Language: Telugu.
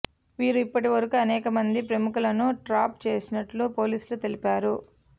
వీరు ఇప్పటివరకు అనేకమంది ప్రముఖులను ట్రాప్ చేసినట్లు పోలీస్ లు తెలిపారు